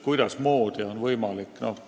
Kuidasmoodi on see võimalik?